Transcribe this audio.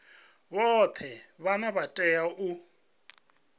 vhoṱhe vhane vha tea u